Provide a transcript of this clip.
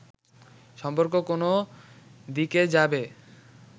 সম্পর্ক কোন দিকে যাবে